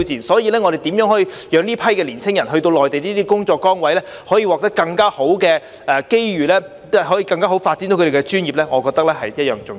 所以，我們如何讓這批年青人到內地這些工作崗位，可以獲得更好的機遇，更好地發揮他們的專業，我覺得是同樣重要。